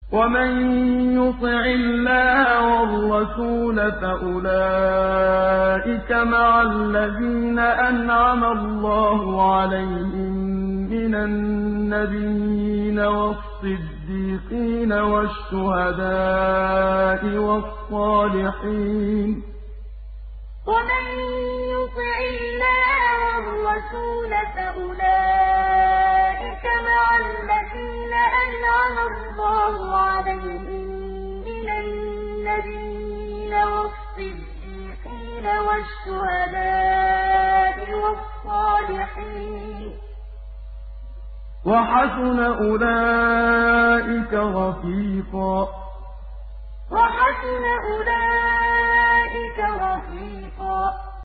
وَمَن يُطِعِ اللَّهَ وَالرَّسُولَ فَأُولَٰئِكَ مَعَ الَّذِينَ أَنْعَمَ اللَّهُ عَلَيْهِم مِّنَ النَّبِيِّينَ وَالصِّدِّيقِينَ وَالشُّهَدَاءِ وَالصَّالِحِينَ ۚ وَحَسُنَ أُولَٰئِكَ رَفِيقًا وَمَن يُطِعِ اللَّهَ وَالرَّسُولَ فَأُولَٰئِكَ مَعَ الَّذِينَ أَنْعَمَ اللَّهُ عَلَيْهِم مِّنَ النَّبِيِّينَ وَالصِّدِّيقِينَ وَالشُّهَدَاءِ وَالصَّالِحِينَ ۚ وَحَسُنَ أُولَٰئِكَ رَفِيقًا